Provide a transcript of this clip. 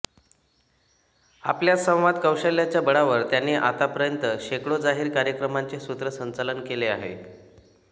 आपल्या संवाद कौशल्याच्या बळावर त्यांनी आतापर्यंत शेकडो जाहीर कार्यक्रमांचे सूत्रसंचालन केले आहे